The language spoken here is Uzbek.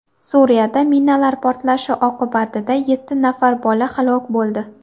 Suriyada minalar portlashi oqibatida yetti nafar bola halok bo‘ldi.